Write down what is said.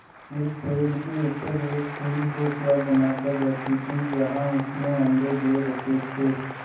उस पेड़ के ऊपर एक चील घोंसला बनाकर रहती थी जहाँ उसने अंडे दे रखे थे